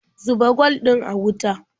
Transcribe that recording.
Zuba kwal ɗin a wuta.